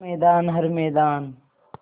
हर मैदान हर मैदान